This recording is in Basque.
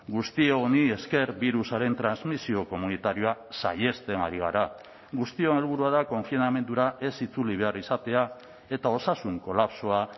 guzti honi esker birusaren transmisio komunitarioa saihesten ari gara guztion helburua da konfinamendura ez itzuli behar izatea eta osasun kolapsoa